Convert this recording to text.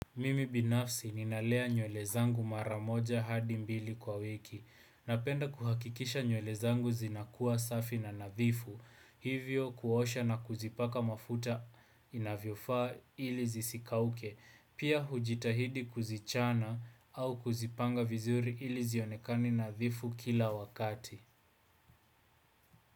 Mimi binafsi ninalea nywele zangu mara moja hadi mbili kwa wiki. Napenda kuhakikisha nywele zangu zinakuwa safi na nadhifu. Hivyo kuosha na kuzipaka mafuta inavyofaa ili zisikauke. Pia hujitahidi kuzichana au kuzipanga vizuri ili zionekani nadhifu kila wakati.